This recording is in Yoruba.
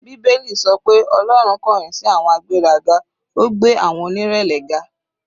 Bíbélì sọ pé Ọlọ́run kọ̀yìn sí àwọn agbéraga, ó gbé àwọn onírẹ̀lẹ̀ ga.